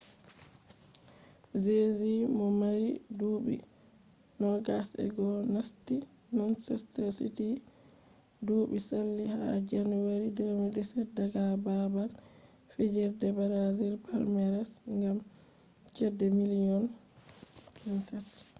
jesus mo mari duubi 21 nasti manchester city duubi sali ha janeru 2017 daga babal fijirde brazil palmeiras gam chede miliyon £27